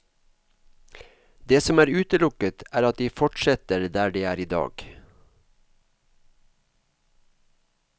Det som er utelukket, er at de fortsetter der de er i dag.